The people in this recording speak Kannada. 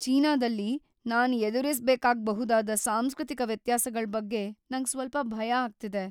ಚೀನಾದಲ್ಲಿ ನಾನ್ ಎದುರಿಸ್ಬೇಕಾಗ್ಬಹುದಾದ ಸಾಂಸ್ಕೃತಿಕ ವ್ಯತ್ಯಾಸಗಳ್ ಬಗ್ಗೆ ನಂಗ್ ಸ್ವಲ್ಪ ಭಯ ಆಗ್ತಿದೆ.